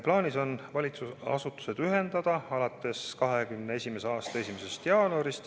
Plaanis on valitsusasutused ühendada 2021. aasta 1. jaanuariks.